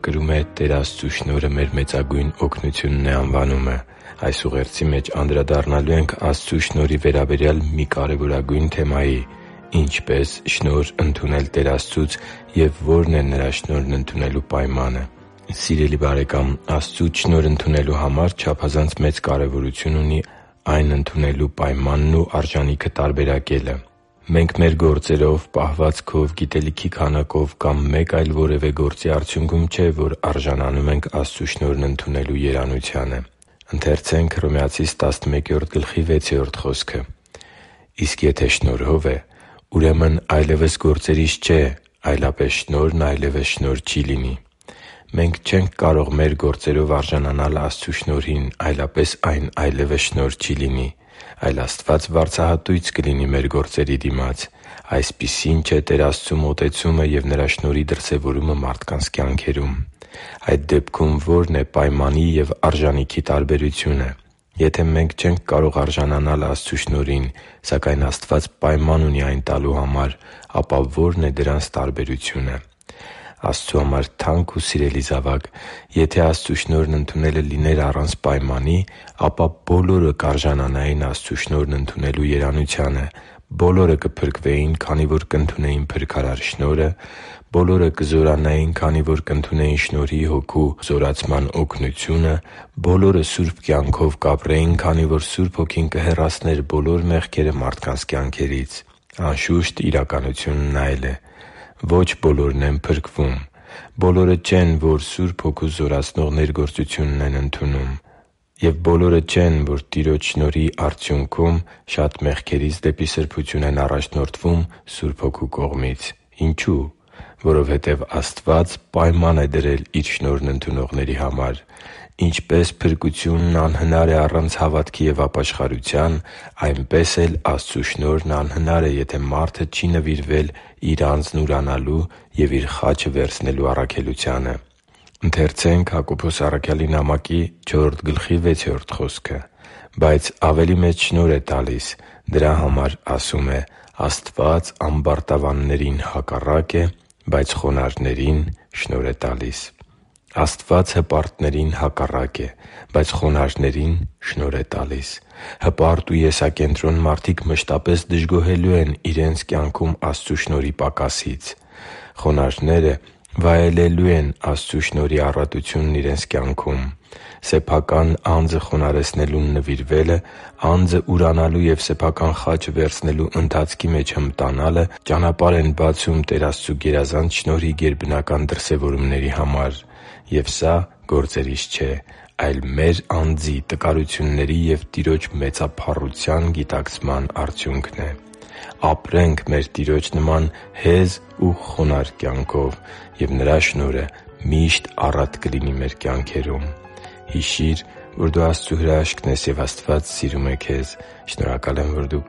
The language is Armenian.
կրում է «Տեր Աստծու շնորհը մեր մեծագույն օգնությունն է» անվանումը։ Այս ուղերձի մեջ անդրադառնալու ենք Աստծու շնորհի վերաբերյալ մի կարևորագույն թեմայի՝ ինչպե՞ս շնորհ ընդունել Տեր Աստծուց և ո՞րն է Նրա շնորհն ընդունելու պայմանը։ Սիրելի՛ բարեկամ, Աստծուց շնորհ ընդունելու համար չափազանց մեծ կարևորություն ունի այն ընդունելու պայմանն ու արժանիքը տարբերակելը։ Մենք մեր գործերով, պահվածքով, գիտելիքի քանակով կամ մեկ այլ որևէ գործի արդյունքում չէ, որ արժանանում ենք Աստծու շնորհն ընդունելու երանությանը։ «Իսկ եթե շնորհով է, ուրեմն այլևս գործերից չէ. այլապես շնորհն այլևս շնորհ չի լինի» (Հռոմեացիս 11․6 ՆՎԱԱ)։ Մենք չենք կարող մեր գործերով արժանանալ Աստծու շնորհին, այլապես այն այլևս շնորհ չի լինի, այլ Աստված վարձահատույց կլինի մեր գործերի դիմաց։ Այսպիսին չէ Տեր Աստծու մոտեցումը և Նրա շնորհի դրսևորումը մարդկանց կյանքերում։ Այդ դեպքում ո՞րն է պայմանի և արժանիքի տարբերությունը։ Եթե մենք չենք կարող արժանանալ Աստծու շնորհին, սակայն Աստված պայման ունի այն տալու համար, ապա ո՞րն է դրանց տարբերությունը։ Աստծո համար թանկ ու սիրելի՛ զավակ, եթե Աստծու շնորհն ընդունելը լիներ առանց պայմանի, ապա բոլորը կարժանանային Աստծու շնորհն ընդունելու երանությանը՝ բոլորը կփրկվեին, քանի որ կընդունեին փրկարար շնորհը, բոլորը կզորանային, քանի որ կընդունեին Շնորհի Հոգու զորացման օգնությունը, բոլորը սուրբ կյանքով կապրեին, քանի որ Սուրբ Հոգին կհեռացներ բոլոր մեղքերը մարդկանց կյանքերից։ Անշուշտ, իրականությունն այլ է։ Ոչ բոլորն են փրկվում։ Բոլորը չեն, որ Սուրբ Հոգու զորացնող ներգործությունն են ընդունում։ Եվ բոլորը չեն, որ Տիրոջ շնորհի արդյունքում շատ մեղքերից դեպի սրբություն են առաջնորդվում Սուրբ Հոգու կողմից։ Ինչո՞ւ։ Որովհետև Աստված պայման է դրել Իր շնորհն ընդունողների համար։ Ինչպես փրկությունն անհնարին է առանց հավատքի և ապաշխարության, այնպես էլ Աստծու շնորհն է անհնարին, եթե մարդը չի նվիրվել Իր անձն ուրանալու և Իր խաչը վերցնելու առաքելությանը։ «Բայց ավելի մեծ շնորհ է տալիս. դրա համար ասում է. «Աստված ամբարտավաններին հակառակ է, բայց խոնարհներին շնորհ է տալիս» (Հակոբոս 4․6 ՆՎԱԱ): Աստված հպարտներին հակառակ է, բայց խոնարհներին շնորհ է տալիս։ Հպարտ ու եսակենտրոն մարդիկ մշտապես դժգոհելու են իրենց կյանքում Աստծու շնորհի պակասից։ Խոնարհները վայելելու են Աստծու շնորհի առատությունն իրենց կյանքում։ Սեփական անձը խոնարհեցնելուն նվիրվելը՝ անձը ուրանալու և սեփական խաչը վերցնելու ընթացքի մեջ հմտանալը ճանապարհ են բացում Տեր Աստծու գերազանց շնորհի գերբնական դրսևորումների համար։ Եվ սա գործերից չէ, այլ մեր անձի տկարությունների և Տիրոջ մեծափառության գիտակցման արդյունքն է։ Ապրե՛նք մեր Տիրոջ նման հեզ ու խոնարհ կյանքով, և Նրա շնորհը միշտ առատ կլինի մեր կյանքերում։ Հիշի՛ր, որ դու Աստծո հրաշքն ես, և Աստված սիրում է քեզ։ Շնորհակալ եմ, որ դու